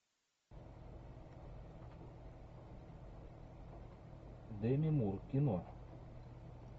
деми мур кино